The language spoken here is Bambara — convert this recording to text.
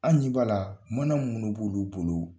An ɲɛ b'a la mana munun b'olu bolo